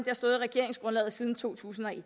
har stået i regeringsgrundlaget siden to tusind og et